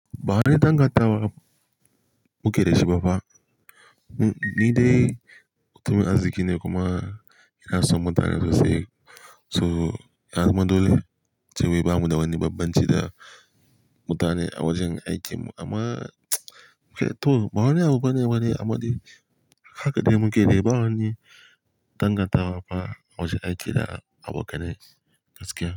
Ba wai dangatawa mu ke da shibafa. Ni dai, mutumin arziki ne kuma ina son mutane sosai. To, ya zama dolai sobo da ba mu da wani babbanci da mutane awajan aiki. Amma to bawane abu bane amma dai haka kaɗai mu ke da bawane dangatawa ba awajan aiki da abokanai gaskiya.